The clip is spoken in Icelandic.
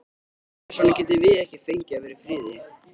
Hvers vegna getum við ekki fengið að vera í friði?